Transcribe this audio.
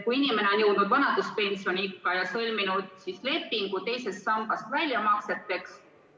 Inimene on jõudnud vanaduspensioniikka ja sõlminud lepingu teisest sambast väljamakseteks.